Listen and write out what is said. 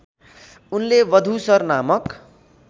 उनले वधूसर नामक